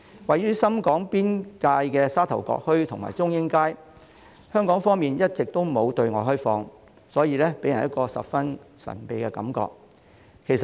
位於深港邊界的沙頭角墟和中英街，香港方面一直都沒有對外開放，所以給人十分神秘的感覺。